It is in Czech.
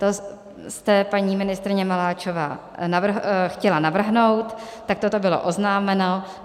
To jste, paní ministryně Maláčová, chtěla navrhnout, takto to bylo oznámeno.